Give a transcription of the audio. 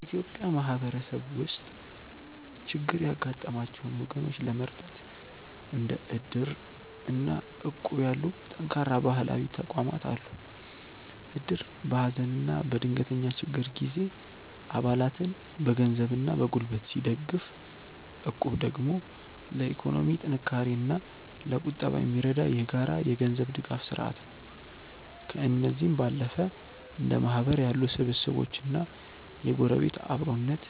በኢትዮጵያ ማህበረሰብ ውስጥ ችግር ያጋጠማቸውን ወገኖች ለመርዳት እንደ እድር እና እቁብ ያሉ ጠንካራ ባህላዊ ተቋማት አሉ። እድር በሀዘንና በድንገተኛ ችግር ጊዜ አባላትን በገንዘብና በጉልበት ሲደግፍ፣ እቁብ ደግሞ ለኢኮኖሚ ጥንካሬና ለቁጠባ የሚረዳ የጋራ የገንዘብ ድጋፍ ስርአት ነው። ከእነዚህም ባለፈ እንደ ማህበር ያሉ ስብስቦችና የጎረቤት አብሮነት፣